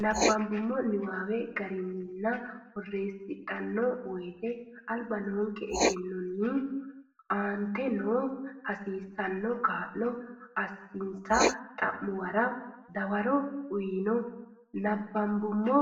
Nabbambummo niwaawe garinninna borreessidhanno woyte alba noonke egennonni aante noo hasiissanno kaa lo assinsa xa muwara dawaro uyno Nabbambummo